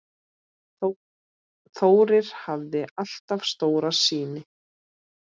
Þórir hafði alltaf stóra sýn.